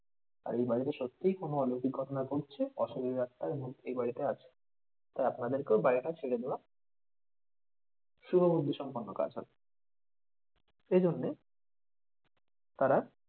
আর এই বাড়িতে সত্যিই কোনো অলৌকিক ঘটনা ঘটছে, অশুভ আত্মা এই বাড়িতে আছে। তাই আপনাদেরকেও এই বাড়িটা ছেড়ে দেওয়া শুভ বুদ্ধি সম্পন্ন কাজ হবে। এই জন্যে তারা